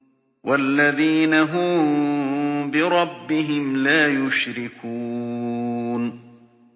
وَالَّذِينَ هُم بِرَبِّهِمْ لَا يُشْرِكُونَ